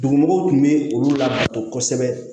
Dugumɔgɔw tun bɛ olu lakodɔn kosɛbɛ